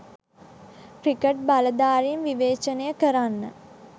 cricket බලධාරීන් විවේචනය කරන්න